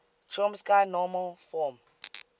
chomsky normal form